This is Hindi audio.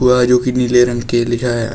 वह नीले रंग के लिखा है।